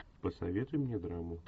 посоветуй мне драму